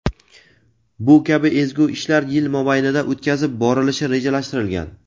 Bu kabi ezgu ishlar yil mobaynida o‘tkazib borilishi rejalashtirilgan.